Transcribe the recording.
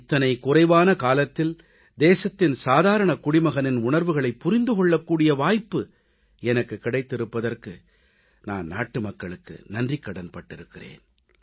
இத்தனை குறைவான காலத்தில் தேசத்தின் சாதாரணக் குடிமகனின் உணர்வுகளைப் புரிந்து கொள்ளக் கூடிய வாய்ப்பு எனக்குக் கிடைத்திருப்பதற்கு நான் நாட்டுமக்களுக்கு நன்றிக்கடன் பட்டிருக்கிறேன்